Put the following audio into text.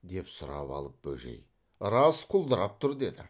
деп сұрап алып бөжей рас құлдырап тұр деді